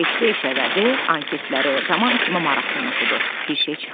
Eşidiş elədi, anketləri roman kimi maraqlı oxudu, bir şey çıxmadı.